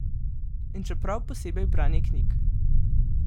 In še prav posebej branje knjig!